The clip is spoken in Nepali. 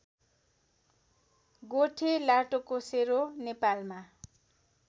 गोठे लाटोकोसेरो नेपालमा